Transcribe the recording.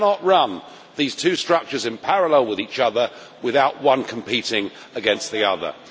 You cannot run these two structures in parallel with each other without one competing against the other.